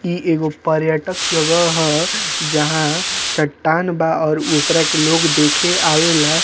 इ एगो पर्यटक जगह ह जहाँ चट्टान बा और उकरा के लोग देखे आवेला।